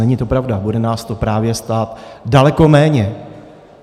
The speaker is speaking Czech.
Není to pravda, bude nás to právě stát daleko méně.